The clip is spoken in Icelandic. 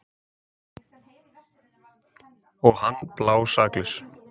Og hann blásaklaus.